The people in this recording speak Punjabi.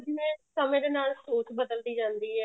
ਜਿਵੇਂ ਸਮੇਂ ਦੇ ਨਾਲ ਸੋਚ ਬਦਲਦੀ ਜਾਂਦੀ ਏ